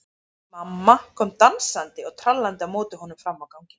Mamma kom dansandi og trallandi á móti honum fram á ganginn.